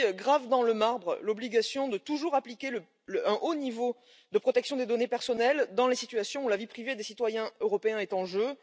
Celui ci grave dans le marbre l'obligation de toujours appliquer un haut niveau de protection des données personnelles dans les situations où la vie privée des citoyens européens est en jeu.